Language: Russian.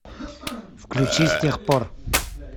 включи с тех пор